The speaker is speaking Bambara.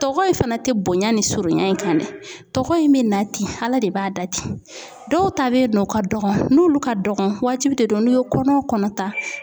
Tɔgɔ in fana tɛ bonya ni surunya in kan dɛ, tɔgɔ in bɛ na ten ala de b'a da ten ,dɔw ta bɛ yen nɔ o ka dɔgɔn , n'olu ka dɔgɔn waajibi de don n'u ye kɔnɔ o kɔnɔ ta